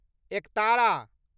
एकतारा